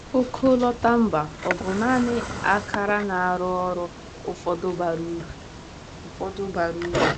Ọkọlọtọ mba ọ bụ naanị ákàrà na-arụ ọrụ ụfọdụ bara uru? ụfọdụ bara uru?